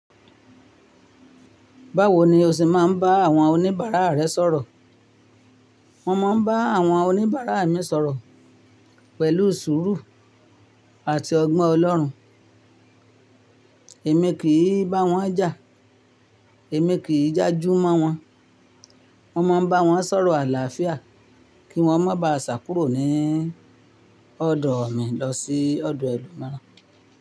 Báwo ni o ṣé máa ń bá àwọn oníbàárà rẹ sọ̀rọ̀? Mo máa ń bá àwọn oníbàárà mi sọ̀rọ̀ pẹ̀lú sùúrù àti ọgbọ́n Ọlọ́run. Èmi kì í bá wọn jà, èmi kì í jájú mọ́ wọn. Mo máa ń bá wọn sọ̀rọ̀ àlàáfíà kí wọ́n má bàá ṣàkúrò ní ọ̀dọ̀ mi lọ sí ọ̀dọ̀ ẹlòmíràn.